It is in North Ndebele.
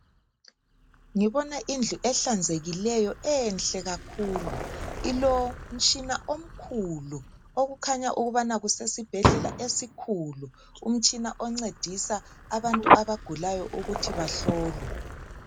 Ngibona indlu ehlanzekileyo enhle kakhulu ilomtshina omkhulu okukhanya ukubana kusesibhedlela esikhulu umtshina oncedisa abantu abagulayo ukuthi bahlolwe.